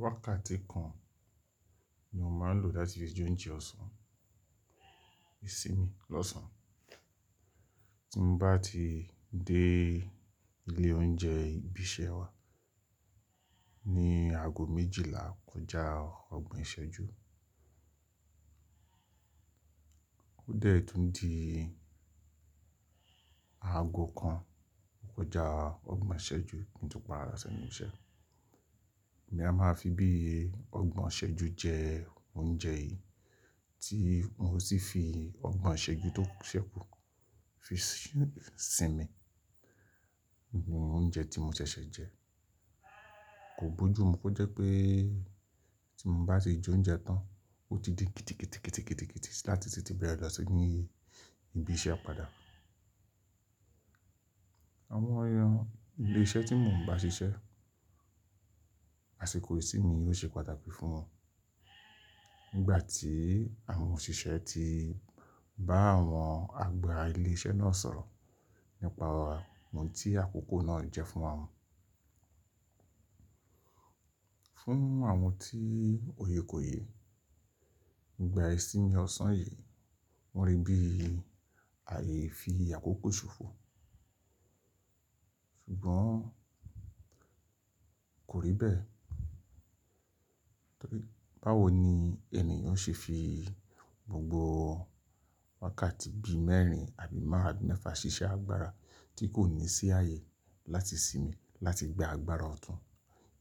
Wákàtí kan ni mo máa ń lò láti fi jóúnjẹ ọ̀sán, ìsinmi lọ́sàn-án. Bí mo bá ti dé ilé oúnjẹ ibi iṣẹ́ wa ní aago méjìlá kọjá ọgbọ̀n ìṣẹ́jú. Ó dẹ̀ tun di aago kan kọjá ọgbọ̀n ìṣẹ́jú kin to pàda si enu ìṣẹ́. Èmi a máa fi bí ọgbọ̀n ìṣẹ́jú jẹ oúnjẹ yìí tí ma sì fi ọgbọ̀n ìṣẹ́jú tó ṣẹ́kù fi sinmi. Òunjẹ́ tí mo ṣẹ̀ṣẹ̀ jẹ. Kò bojú mu kó jẹ́ pé tí mo bá ti jóúnjẹ tán, ó ti di kítíkítí láti tètè bẹ̀rẹ̀ lọ sí ní ibi iṣẹ́ padà. Àwọn ilé iṣẹ́ tí mò ń bá ṣiṣẹ́, àsìkò ìsinmi yóò ṣe pàtàkì fún wọn. Nígbà tí àwọn òṣìṣẹ́ ti bá àwọn agba ilé iṣẹ́ náà sọ̀rọ̀ nípa ohun tí àkókò náà jẹ́ fún wọn. Fún àwọn tí òye kò ye, ìgbà ìsinmi ọ̀sán yìí wọ́n rí bí ààyè fi àkókò ṣòfò. Ṣùgbọ́n kò rí bẹ́ẹ̀. Báwo ni ènìyàn ṣe fi gbogbo wákàtí bí i mẹ́rin àbí márún-ún mẹ́fà ṣiṣẹ́ agbára tí kò ní sí ààyè láti sinmi, láti gba agbára ọ̀tún,